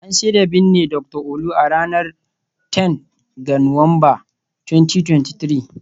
An shirya binne Dr Olu, a ranar 10 ga Nuwamba, 2023